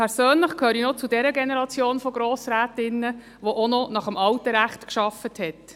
Persönlich gehöre ich noch zu jener Generation von Grossrätinnen und Grossräten, die noch nach dem alten Recht gearbeitet hat.